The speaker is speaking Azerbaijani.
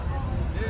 Neydi borcu?